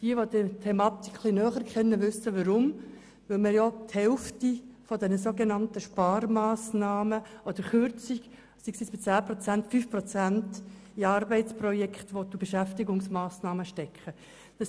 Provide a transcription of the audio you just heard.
Jene, die die Thematik etwas näher kennen, wissen weshalb, nämlich weil er die Hälfte der sogenannten Sparmassnahmen oder Kürzungen, das heisst 5 Prozent, in Arbeitsprojekte und Beschäftigungsmassnahmen stecken will.